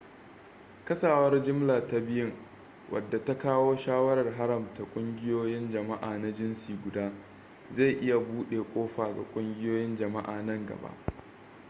kasawar jimla ta biyun wadda ta kawo shawarar haramta ƙungiyoyin jama'a na jinsi guda zai iya bude kofa ga ƙungiyoyin jama'a nan gaba